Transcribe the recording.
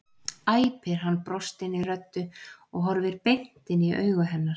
æpir hann, brostinni röddu og horfir beint inn í augu hennar.